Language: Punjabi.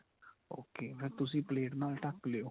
okay ਫੇਰ ਤੁਸੀਂ ਪਲੇਟ ਨਾਲ ਢੱਕ ਲਿਓ.